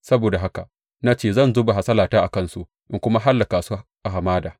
Saboda haka na ce zan zuba hasalata a kansu in kuma hallaka su a hamada.